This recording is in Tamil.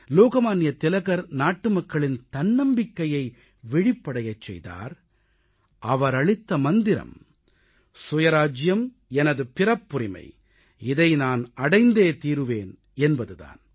லோகமான்ய திலகர் நாட்டுமக்களின் தன்னம்பிக்கையை விழிப்படையச் செய்தார் அவரளித்த மந்திரம் சுயராஜ்ஜியம் எனது பிறப்புரிமை இதை நான் அடைந்தே தீருவேன் என்பது தான்